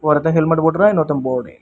ஒருத்தன் ஹெல்மெட் போட்ருக்கா இன்னொருத்த போடல.